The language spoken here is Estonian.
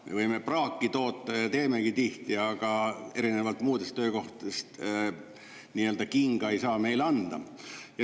Me võime praaki toota ja teemegi tihti, aga erinevalt muudest töökohtadest kinga ei saa meile anda.